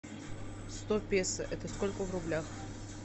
сто песо это сколько в рублях